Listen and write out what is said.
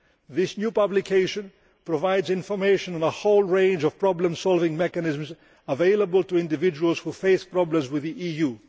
This new publication provides information on a whole range of problem solving mechanisms available to individuals who face problems with the EU.